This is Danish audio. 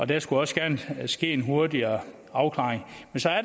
der skulle også gerne ske en hurtigere afklaring